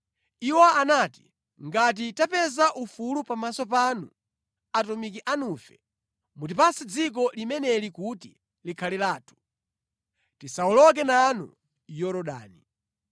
Iwo anati, ‘Ngati tapeza ufulu pamaso panu atumiki anufe, mutipatse dziko limeneli kuti likhale lathu. Tisawoloke nanu Yorodani.’ ”